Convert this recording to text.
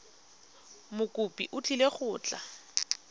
mokopi o tlile go tla